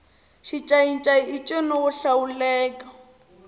xincayincayi i ncino wo hlawuleka